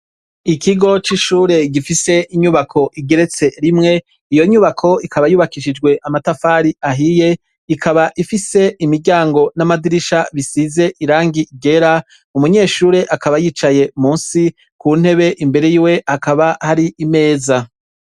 Ikigo c'ishure gifise inyubako igeretse rimwe .Iyo nyubako ikaba yubakishijwe amatafari ahiye, ikaba ifise imiryango n'amadirisha bisize irangi ryera umunyeshure akaba yicaye munsi ku ntebe imbere y'iwe akaba hari imeza.